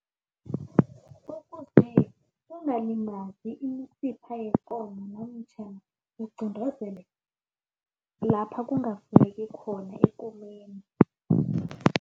kungalimali imisipha yikomo namtjhana lapha kungafuneki khona ekomeni.